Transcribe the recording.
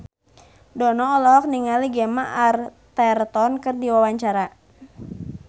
Dono olohok ningali Gemma Arterton keur diwawancara